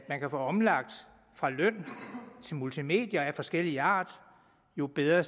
man kan få omlagt fra løn til multimedier af forskellig art jo bedre